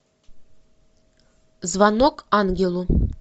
звонок ангелу